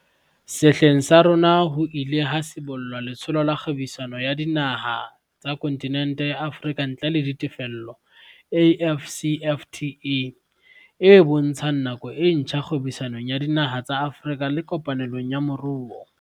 Sehleng sa rona ho ile ha sibollwa Letsholo la Kgwebisano ya Dinaha tsa Kontinente ya Afrika ntle le Ditefello, AFCFTA, e bontshang nako e ntjha kgwebisanong ya dinaha tsa Afrika le kopanelong ya moruo.